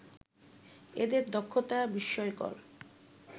এদের দক্ষতা বিস্ময়কর